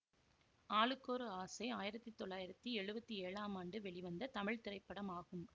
ஆளுக்கொரு ஆசை ஆயிரத்தி தொள்ளாயிரத்தி எழுவத்தி ஏழாம் ஆண்டு வெளிவந்த தமிழ் திரைப்படமாகும்